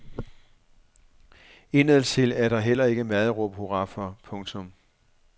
Indadtil er der heller ikke meget at råbe hurra for. punktum